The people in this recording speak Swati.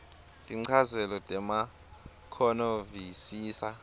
tinchazelo temakhono visisa